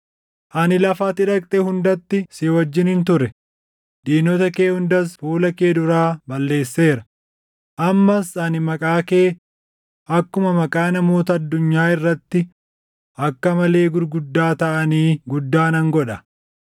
Ani lafa ati dhaqxe hundatti si wajjinin ture; diinota kee hundas fuula kee duraa balleesseera. Ammas ani maqaa kee akkuma maqaa namoota addunyaa irratti akka malee gurguddaa taʼanii guddaa nan godha.